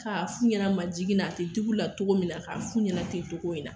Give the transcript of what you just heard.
k'a f'u yɛrɛ ma jigin na a ti digi u la togo min na k'a f'u ɲɛna ten togo in na